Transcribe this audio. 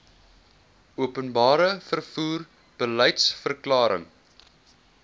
openbare vervoer beliedsverklaring